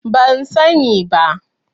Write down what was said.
Ban sani ba.